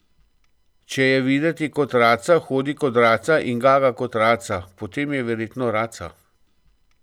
Če je videti kot raca, hodi kot raca in gaga kot raca, potem je verjetno raca.